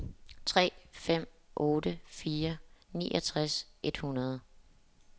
tre fem otte fire niogtres et hundrede